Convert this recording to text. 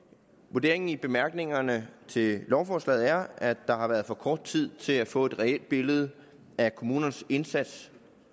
vurderingen i bemærkningerne til lovforslaget er at der har været for kort tid til at få et reelt billede af kommunernes indsats